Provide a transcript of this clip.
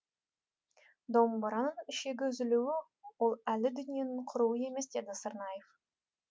домбыраның ішегі үзілуі ол әлі дүниенің құруы емес деді сырнаев